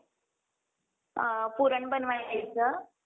अ पूरण बनवायचं.